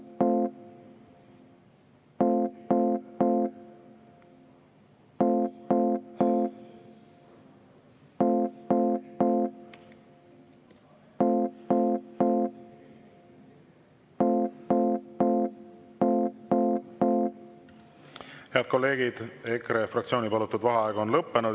Head kolleegid, EKRE fraktsiooni palutud vaheaeg on lõppenud.